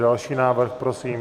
Další návrh, prosím.